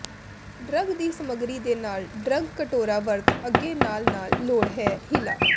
drug ਦੀ ਸਮੱਗਰੀ ਦੇ ਨਾਲ ਡਰੱਗ ਕਟੋਰਾ ਵਰਤ ਅੱਗੇ ਨਾਲ ਨਾਲ ਲੋੜ ਹੈ ਹਿਲਾ